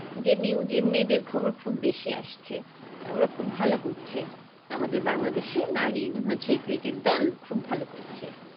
যে news এ মেয়েদের খবর খুব বেশি আসছে ওরা খুব ভালো করছে আমাদের বাংলাদেশে নারী হচ্ছে cricket দল খুব ভালো করছে